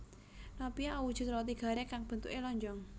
Nopia awujud roti garing kang bentukè lonjong